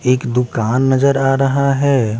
एक दुकान नजर आ रहा हैं ।